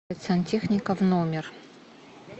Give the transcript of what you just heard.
сантехника в номер